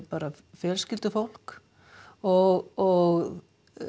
fjölskyldufólk og